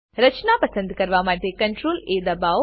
રચના પસંદ કરવા માટે CTRLA દબાવો